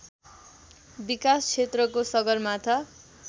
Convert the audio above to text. विकास क्षेत्रको सगरमाथा